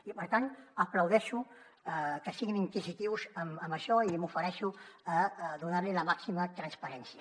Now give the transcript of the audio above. i per tant aplaudeixo que siguin inquisitius en això i m’ofereixo a donar li la màxima transparència